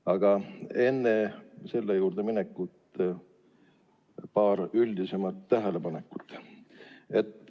Aga enne selle juurde minekut teen paar üldisemat tähelepanekut.